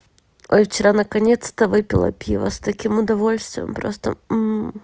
о вчера наконец-то выпила пиво с таким удовольствием просто